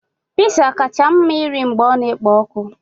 Pizza kacha mma irì mgbe ọ na-ekpo ọkụ.